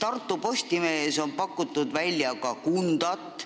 Tartu Postimehes on välja pakutud Kundat.